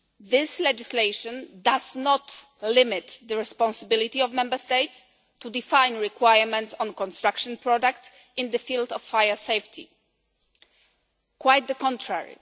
This legislation does not limit the responsibility of Member States to define requirements on construction products in the field of fire safety quite the contrary.